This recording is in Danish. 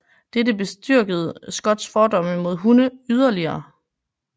Dette bestyrkede Scotts fordomme mod hunde yderligere